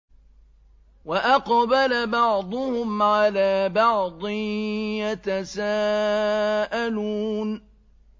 وَأَقْبَلَ بَعْضُهُمْ عَلَىٰ بَعْضٍ يَتَسَاءَلُونَ